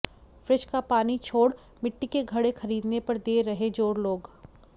fridge का पानी छोड़ मिट्टी के घड़े खरीदने पर दे रहे जोर लोग